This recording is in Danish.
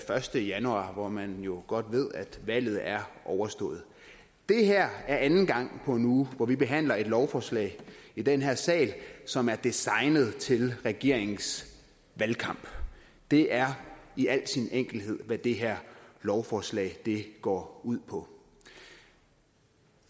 første januar hvor man jo godt ved at valget er overstået det er anden gang på en uge at vi behandler et lovforslag i den her sal som er designet til regeringens valgkamp det er i al sin enkelhed hvad det her lovforslag går ud på